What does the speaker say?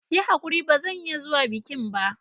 Yi hakuri ba zan iya zuwa bikin ba.